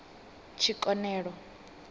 tshikonelo